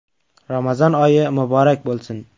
Ramazon oyi muborak bo‘lsin!